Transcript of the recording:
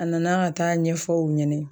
A nana ka taa ɲɛfɔ u ɲɛnɛ